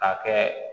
Ka kɛ